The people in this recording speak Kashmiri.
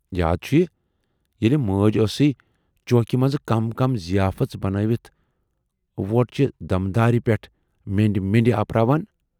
یاد چھُیہِ ییلہِ موج ٲسٕے چوکہٕ منزٕ کم کم ضیافٔژ بنٲوِتھ وۅٹہِ چہِ دمدارِ پٮ۪ٹھ مینڈِ مینڈِ آپرراوان۔